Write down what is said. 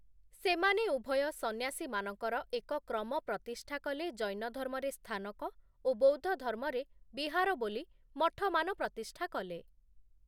ସେମାନେ ଉଭୟ ସନ୍ୟାସୀମାନଙ୍କର ଏକ କ୍ରମ ପ୍ରତିଷ୍ଠା କଲେ ଜୈନଧର୍ମରେ ସ୍ଥାନକ ଓ ବୌଦ୍ଧଧର୍ମରେ ବିହାର ବୋଲି ମଠମାନ ପ୍ରତିଷ୍ଠା କଲେ ।